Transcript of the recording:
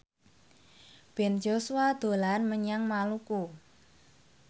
Ben Joshua dolan menyang Maluku